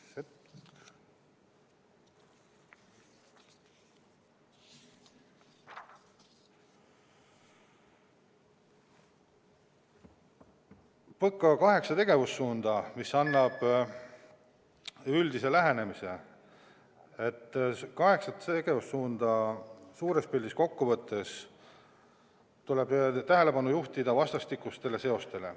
PõKa kaheksat tegevussuunda, mis annavad üldise lähenemise, suures pildis kokku võttes tuleb tähelepanu juhtida vastastikustele seostele.